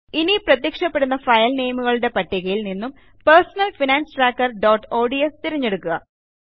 ഇനി പ്രത്യക്ഷപ്പെടുന്ന ഫയൽ നേമുകളുടേ പട്ടികയിൽ നിന്നും personal finance tracker dot ods തിരഞ്ഞെടുക്കുക